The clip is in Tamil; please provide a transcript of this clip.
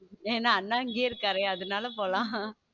ஏன்னா அண்ணா எங்கே இருக்கிறார் அதனால போலாம்.